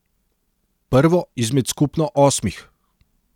Prvo izmed skupno osmih.